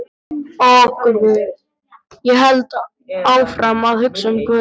Og guð, ég hélt áfram að hugsa um guð.